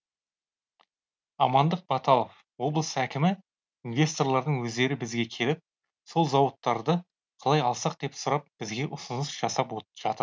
амандық баталов облыс әкімі инвесторлардың өздері бізге келіп сол зауыттарды қалай алсақ деп сұрап бізге ұсыныс жасап жатыр